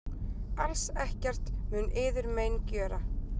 Alls ekkert mun yður mein gjöra.